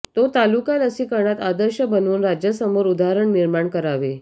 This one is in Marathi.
तो तालुका लसीकरणात आदर्श बनवून राज्यासमोर उदाहरण निर्माण करावे